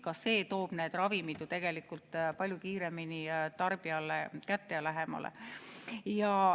Ka see toob need ravimid ju palju kiiremini tarbijale kätte.